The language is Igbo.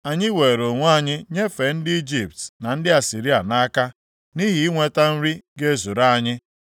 Anyị weere onwe anyị nyefee ndị Ijipt na ndị Asịrịa nʼaka nʼihi inweta nri ga-ezuru anyị.